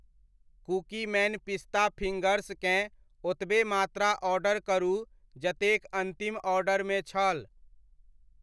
Cookieman पिस्ता फिंगर्सकेँ ओतबे मात्रा ऑर्डर करू जतेक अन्तिम ऑर्डरमे छल।